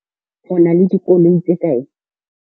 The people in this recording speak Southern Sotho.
O na le dikoloi tse kae?